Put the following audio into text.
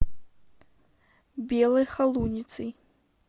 белой холуницей